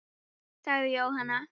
sagði Jóhann.